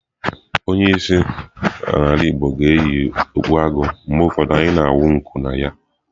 Onye isi ala igbo ga na-eyi okpu agụ, mgbe ụfọdụ anyị na-awụ nku na ya.